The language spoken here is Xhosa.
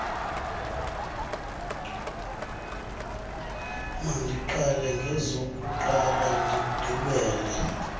mandiqale ngezokuqala ndigqibele